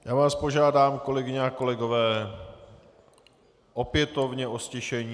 Já vás požádám, kolegyně a kolegové, opětovně o ztišení.